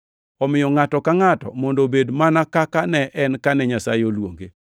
Omiyo ngʼato ka ngʼato mondo obed mana kaka ne en kane Nyasaye oluonge.